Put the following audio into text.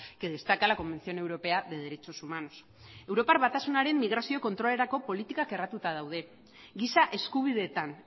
que destaca la convención europea de derechos humanos europar batasunaren migrazio kontrolerako politikak erratuta daude giza eskubideetan